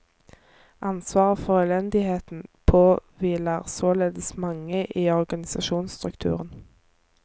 Ansvaret for elendigheten påhviler således mange i organisasjonsstrukturen.